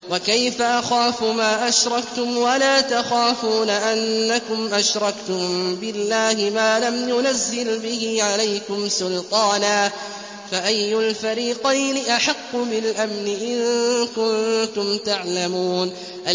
وَكَيْفَ أَخَافُ مَا أَشْرَكْتُمْ وَلَا تَخَافُونَ أَنَّكُمْ أَشْرَكْتُم بِاللَّهِ مَا لَمْ يُنَزِّلْ بِهِ عَلَيْكُمْ سُلْطَانًا ۚ فَأَيُّ الْفَرِيقَيْنِ أَحَقُّ بِالْأَمْنِ ۖ إِن كُنتُمْ تَعْلَمُونَ